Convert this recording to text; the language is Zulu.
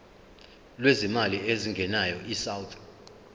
lwezimali ezingenayo isouth